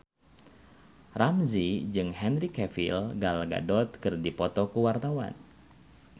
Ramzy jeung Henry Cavill Gal Gadot keur dipoto ku wartawan